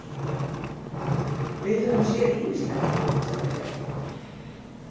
Við höfum séð ýmislegt, sagði Bjarni.